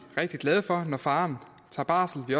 rigtig glade når faderen tager barsel vi